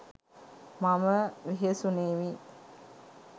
මම වෙහෙසුණෙමි.